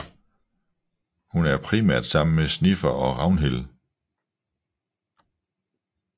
Hun er primært sammen med Snifer og Ragnhild